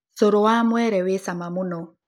Cũrũ wa mwere wĩ cama mũno